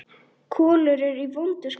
Kolur er í vondu skapi.